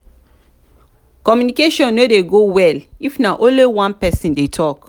communication no de go well if na only one person de talk